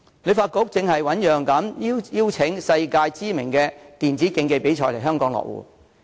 旅發局正醞釀邀請世界知名的電子競技比賽來港落戶。